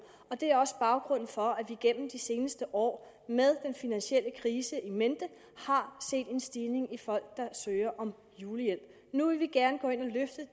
og det er også baggrunden for at vi gennem de seneste år med den finansielle krise in mente har set en stigning i folk der søger om julehjælp nu vil vi gerne gå ind